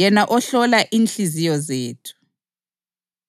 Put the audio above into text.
yena ohlola inhliziyo zethu.